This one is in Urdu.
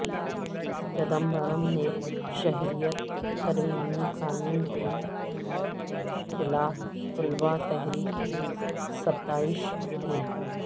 چدمبرم نے شہریت ترمیمی قانون کے خلاف طلباء تحریک کی ستائش کی